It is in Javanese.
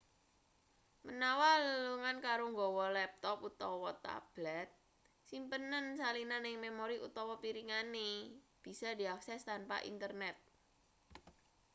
menawa lelungan karo nggawa laptop utawa tablet simpenen salinan ing memori utawa piringane bisa diakses tanpa internet